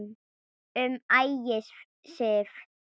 Um Ægisif